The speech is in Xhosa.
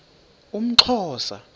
umxhosa